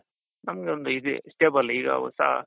ನಮ್ಗೆ ಒಂದು ಇದು stable ಈಗ ಹೊಸ,